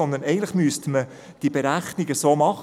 Man müsste diese Zahl mit 0,7 und mit 1,3 multiplizieren.